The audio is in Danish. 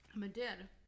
Men det er det